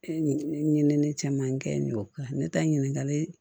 Ɲinini caman kɛ yen ne ta ɲininkali